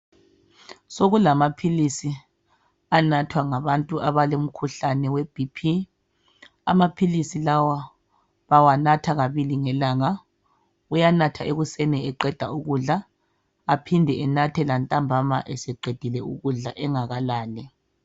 Sokulamaphilisi anathwa ngabantu abalomkhuhlane we"BP" .Amaphilisi lawa bawanatha kabili ngelanga. Uyanatha ekuseni eqeda ukudla, aphinde anathe ntambama eseqedile ukudla angakalali.